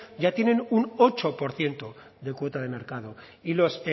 ya tienen un ocho por ciento de cuota de mercado y los